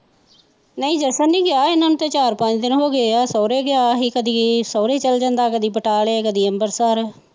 ਨਹੀਂ ਜਸਣ ਨੀ ਗਿਆ ਇਹਨਾਂ ਨੂੰ ਤੇ ਚਾਰ ਪੰਜ ਦਿਨ ਹੋ ਗਏ ਆ ਸੋਹਰੇ ਗਿਆ ਸੀ, ਕਦੀ ਸੋਹਰੇ, ਕਦੀ ਬਟਾਲੇ, ਕਦੀ ਅਂਬਰਸਰ